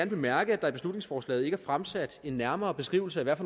bemærke at der i beslutningsforslaget ikke er fremsat en nærmere beskrivelse af